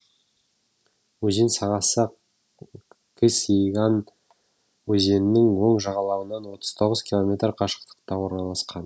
өзен сағасы кыс еган өзенінің оң жағалауынан отыз тоғыз километр қашықтықта орналасқан